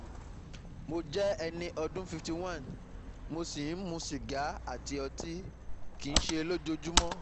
Mo jẹ́ ẹni ọdún fifty one, mo sì ń mu sìgá àti ọtí (kìí ṣe lójoojúmọ́)